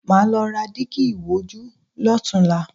Màá lọ ra dígí ìwojú lọ́tunla